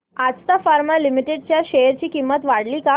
Ajanta pharma limited च्या share ची किंमत वाढली का